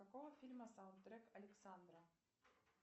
с какого фильма саундтрек александра